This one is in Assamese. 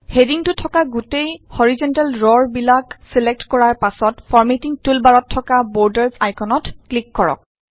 হেডিংটো থকা গোটেই হৰাইযন্টেল ৰবিলাক ছিলেক্ট কৰাৰ পাছত ফৰমেটিং টুল বাৰত থকা বৰ্ডাৰ্চ আইকনত ক্লিক কৰক